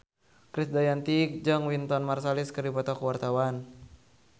Krisdayanti jeung Wynton Marsalis keur dipoto ku wartawan